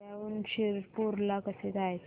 धुळ्याहून शिरपूर ला कसे जायचे